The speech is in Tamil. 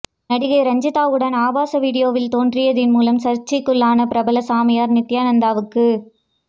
நடிகை ரஞ்சிதாவுடன் ஆபாச வீடியோவில் தோன்றியதன் மூலம் சர்ச்சைக்குள்ளான பிரபல சாமியார் நித்யானந்தாவுக்கு